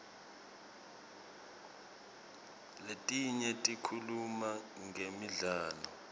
letinye tikhuluma ngemidlalo